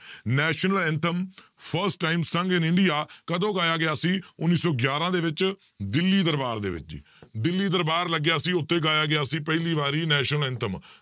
national anthem first time sung in India ਕਦੋਂ ਗਾਇਆ ਗਿਆ ਸੀ ਉੱਨੀ ਸੌ ਗਿਆਰਾਂ ਦੇ ਵਿੱਚ ਦਿੱਲੀ ਦਰਬਾਰ ਦੇ ਵਿੱਚ, ਦਿੱਲੀ ਦਰਬਾਰ ਲੱਗਿਆ ਸੀ, ਉੱਥੇ ਗਾਇਆ ਗਿਆ ਸੀ ਪਹਿਲੀ ਵਾਰੀ national anthem